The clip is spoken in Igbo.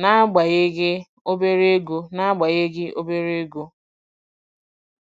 n'agbanyeghị obere ego n'agbanyeghị obere ego.